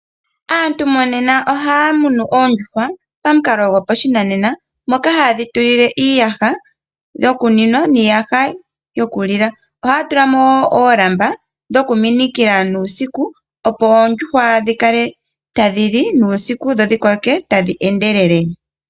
Aantu monena ohaya munu oondjuhwa pamukalo gopashinanena, moka hayedhi tulile iiyaha yokuninwa niiyaha yokulilwa . Ohaya tulamo oolamba dhokuminikila nuusiku noondjuhwa dhikale tadhi li nuusiku, dho dhi koke tadhi endelele.